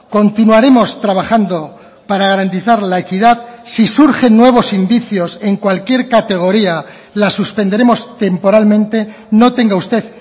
continuaremos trabajando para garantizar la equidad si surgen nuevos indicios en cualquier categoría la suspenderemos temporalmente no tenga usted